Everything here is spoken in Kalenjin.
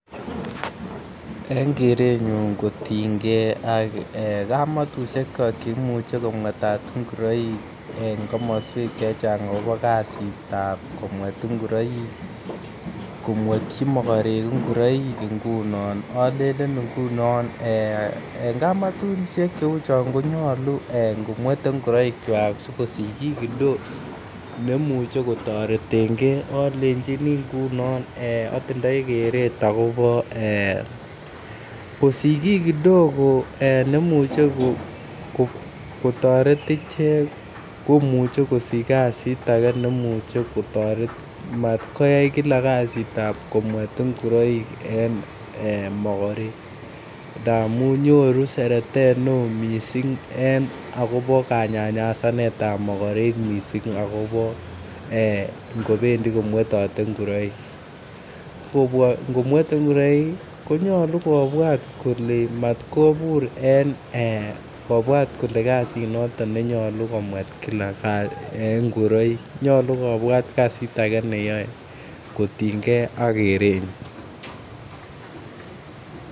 En korenyun kotiengee kamatushek che imuche kometat ngoroik en komoswek chechang akobo kazitab komwet ngoroik komwetyi mogorek ngoroik ngunon olelen ngunon ee en kamatushek che uu chon konyoluu ee ngo mwete ngoroikwak sikosich kii kidogo nemuche kotoretengee olejini ngunon ee otindoi keret okobo ee ngosich kii kidogo nemuche kotoret ichek komuche kosich kazit age nemuche kotoret mat koyay kazit Kila nebo komwet ngoroik en mogorek ndamun nyoru seretet ne oo missing en akobo kanyanyasanetab mogorek missing akobo ee kobendii komwetote ngoroik, ngo mwete ngoroik konyoluu kobwat kole mat kobur en kobwat kole kazi noton ne nyoluu komwet Kila ngoroik nyoluu kobwat kazit age neyoe kotiengee ak korenyun